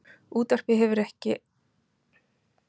Útvarpið hefur enn ekki horfið af markaði en heitin lifa góðu lífi.